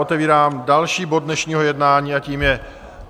Otevírám další bod dnešního jednání, a tím je